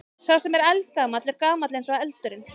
Sá sem er eldgamall er gamall eins og eldurinn.